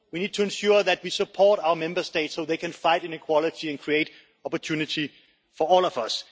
We need to ensure that we support our Member States so they can fight inequality and create opportunity for all of us.